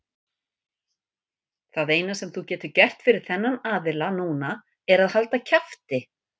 Það eina sem þú getur gert fyrir þennan aðila núna er að halda kjafti.